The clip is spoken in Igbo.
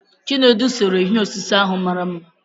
Chinedu séré ihe osise ahụ mara mma